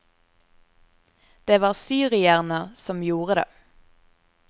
Det var syrierne som gjorde det.